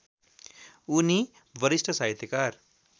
उनी वरिष्ठ साहित्यकार